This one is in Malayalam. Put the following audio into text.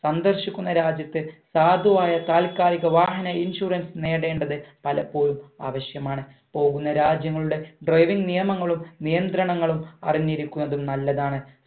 സന്ദർശിക്കുന്ന രാജ്യത്തെ സാധുവായ താൽകാലിക വാഹന insurance നേടേണ്ടത് പലപ്പോഴും ആവശ്യമാണ് പോകുന്ന രാജ്യങ്ങളുടെ driving നിയമങ്ങളും നിയന്ത്രണങ്ങളും അറിഞ്ഞിരിക്കുന്നതും നല്ലതാണ്